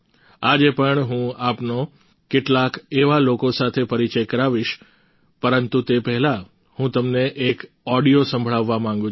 આજે પણ હું આપનો કેટલાક એવા લોકો સાથે પરિચય કરાવીશ પરંતુ તે પહેલા હું તમને એક ઓડિયો સંભળાવવા માંગુ છું